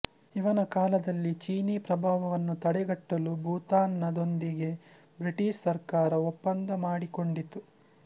ಇವನ ಕಾಲದಲ್ಲಿ ಚೀನಿ ಪ್ರಭಾವವನ್ನು ತಡೆಗಟ್ಟಲು ಭೂತಾನದೊಂದಿಗೆ ಬ್ರಿಟಿಷ್ ಸರ್ಕಾರ ಒಪ್ಪಂದ ಮಾಡಿ ಕೊಂಡಿತು